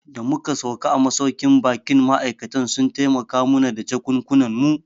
Da muka sauka a masauƙin baƙin ma'aikatan sun taimaka mu na da jakunkunan mu